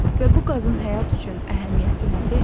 Və bu qazın həyat üçün əhəmiyyəti nədir?